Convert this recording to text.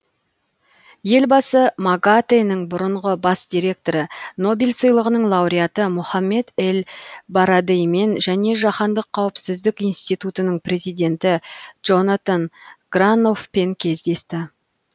елбасы магатэ нің бұрынғы бас директоры нобель сыйлығының лауреаты мохаммед эль барадеймен және жаһандық қауіпсіздік институтының президенті джонатан граноффпен кездесті